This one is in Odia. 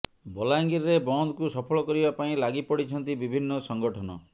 ବଲାଙ୍ଗିରରେ ବନ୍ଦକୁ ସଫଳ କରିବା ପାଇଁ ଲାଗି ପଡ଼ିଛନ୍ତି ବିଭିନ୍ନ ସଂଗଠନ